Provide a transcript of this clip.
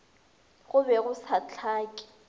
go be go sa hlake